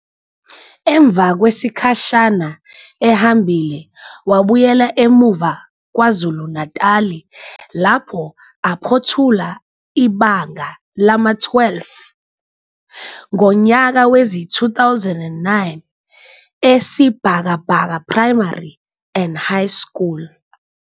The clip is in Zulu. Emva kwesikhashana ehambile wabuyela emuva KwaZulu-Natali lapho aphothula ibanga lama-12 ngonyaka wezi-2009 eSibhakabhaka Primary and High School.